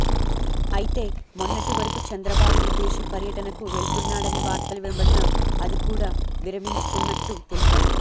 అయితే మొన్నటి వరకు చంద్రబాబు విదేశీ పర్యటనకు వెళ్తున్నాడని వార్తలు వినబడినా అది కూడా విరమించుకున్నట్టు తెలిపారు